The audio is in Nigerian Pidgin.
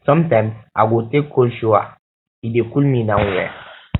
sometimes i go take cold shower e dey cool me down well